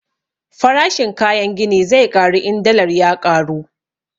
Farashin kayan gini zai ƙaru in dallar ya ƙaru